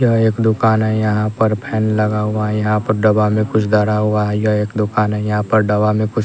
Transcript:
यह एक दुकान है यहाँ पर फैन लगा हुआ है यहाँ पर डवा में कुछ दरा हुआ है यह एक दुकान है यहाँ पर डवा में कुछ--